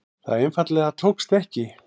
Það einfaldlega tókst ekki.